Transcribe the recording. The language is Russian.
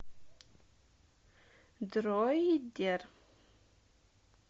дроидер